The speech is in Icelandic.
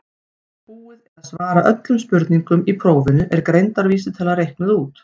þegar búið er að svara öllum spurningum í prófinu er greindarvísitala reiknuð út